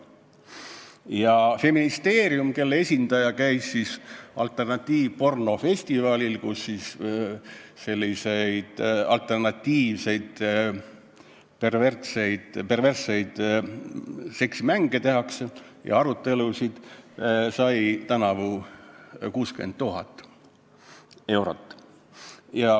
Ja Feministeerium, kelle esindaja käis alternatiivpornofestivalil, kus tutvustatakse alternatiivseid, perversseid seksimänge ja arutletakse kõige selle üle, sai tänavu 60 000 eurot.